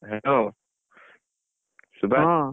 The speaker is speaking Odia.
Hello ସୁବାଶ।